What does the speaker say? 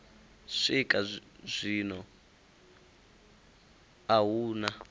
swika zwino a hu na